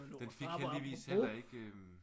Den fik heldigvis heller ikke øh